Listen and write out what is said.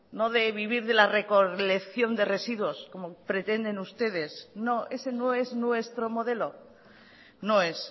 no de vivir de la recolección de residuos como pretenden ustedes no ese no es nuestro modelo no es